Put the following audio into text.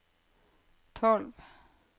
tolv